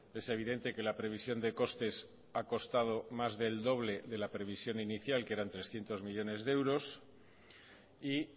es evidente que la previsión de costes ha costado más del doble de la previsión inicial que eran trescientos millónes de euros y